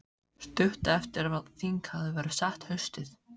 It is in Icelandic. Stuttu eftir að þing hafði verið sett haustið